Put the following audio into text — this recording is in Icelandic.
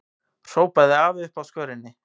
hrópaði afi uppi á skörinni.